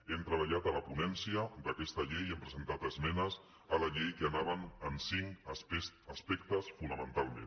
hem treballat a la ponència d’aquesta llei hem presentat esmenes a la llei que anaven en cinc aspectes fonamentalment